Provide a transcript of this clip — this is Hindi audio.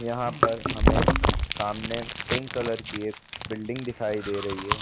यहाँ पर हमें सामने पिंक कलर की एक बिल्डिंग दिखाई दे रही है।